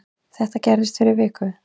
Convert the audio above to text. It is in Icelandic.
Þetta gerðist fyrir viku